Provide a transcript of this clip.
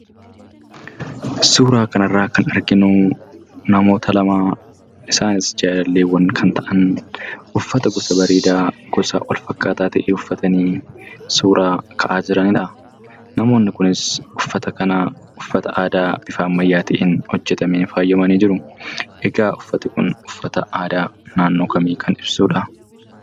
Suuraa kanarra kan arginu namoota lama, isaanis jaalalleewwaan kan ta'aniidha. Uffata gosa bareedaa wal-fakkaataa ta'e uffatanii suuraa ka'aa jiraniidha. Namoonni kunis, uffata kana uffata aadaa, bifa ammayyaatiin hojjetameen faayyamanii jiru. Egaa uffanni aadaa kun, uffata aadaa naannoo kamii kan ibsuudha?